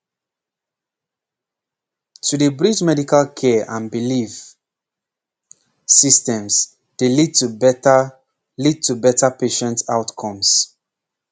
pause to dey bridge medical care and belief pause systems dey lead to better lead to better patient outcomes